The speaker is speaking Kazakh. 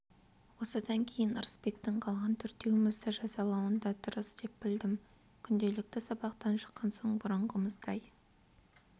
осыдан кейін ырысбектің қалған төртеумізді жазалауын да дұрыс деп білдім күнделікті сабақтан шыққан соң бұрынғымыздай